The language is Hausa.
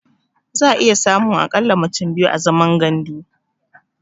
Za'a iya samun a ƙalla mutum biyu a zaman gandu.